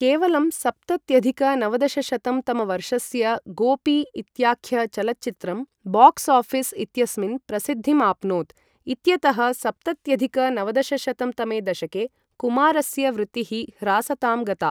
केवलं सप्तत्यधिक नवदशशतं तमवर्षस्य 'गोपी' इत्याख्यचलच्चित्रं बाक्स् ओऴीस् इत्यस्मिन् प्रसिद्धिमाप्नोत् इत्यतः सप्तत्यधिक नवदशशतं तमे दशके कुमारस्य वृत्तिः ह्रासतां गता।